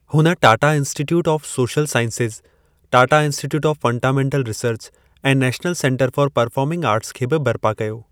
हुन Tata Institute of Social Sciences, Tata Institute of Fundamental Research ऐं National Centre for Performing Arts खे बि बरिपा कयो।